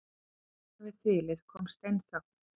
Handan við þilið kom steinþögn.